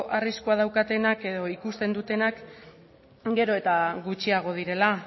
arriskua daukatenak edo ikusten dutenak gero eta gutxiago direla